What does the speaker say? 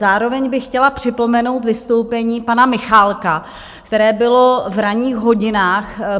Zároveň bych chtěla připomenout vystoupení pana Michálka, které bylo v ranních hodinách.